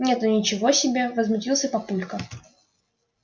нет ну ничего себе возмутился папулька